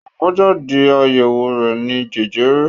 Àbájáde àyẹ̀wò rẹ̀ ni jẹjẹrẹ.